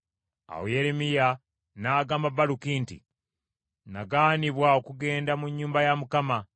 Awo Yeremiya n’agamba Baluki nti, “Nagaanibwa okugenda mu nnyumba ya Mukama .